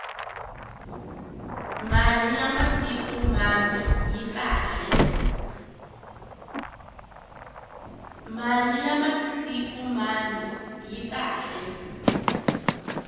mali ya matik mambe yi kahle